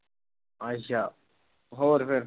ਅੱਛਾ ਹੋਰ ਫਿਰ।